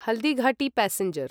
Haldighati passenger